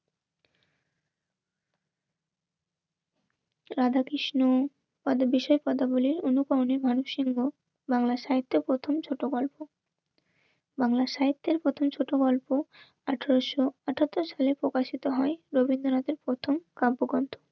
রাধা কৃষ্ণ পদ বিষয়ের কথা বলি অনুকরণের মানব সিংহ বাংলা সাহিত্য প্রথম ছোট গল্প. বাংলা সাহিত্যের প্রথম ছোট গল্প আঠারোশো আটাত্তর সালে প্রকাশিত হয় রবীন্দ্রনাথের প্রথম কাব্যগ্রন্থ